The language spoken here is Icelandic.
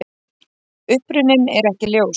Uppruninn er ekki ljós.